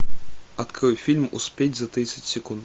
открой фильм успеть за тридцать секунд